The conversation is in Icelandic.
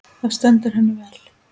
Það hentaði henni vel.